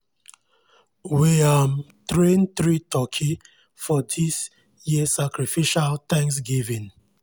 we um train three turkey just for dis year sacrificial thanksgiving.